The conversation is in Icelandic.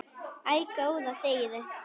Æ, góða þegiðu.